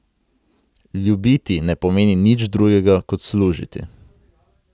Ljubiti ne pomeni nič drugega kot služiti.